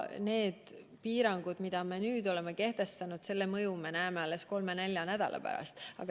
Need piirangud, mis me nüüd oleme kehtestanud – nende mõju me näeme alles 3–4 nädala pärast.